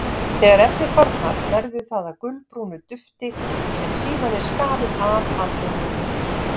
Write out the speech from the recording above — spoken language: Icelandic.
Þegar efnið þornar verður það að gulbrúnu dufti sem síðan er skafið af aldininu.